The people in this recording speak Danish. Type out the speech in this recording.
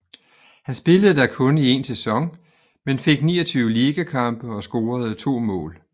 Han spillede der kun i en sæson men fik 29 ligakampe og scorede 2 mål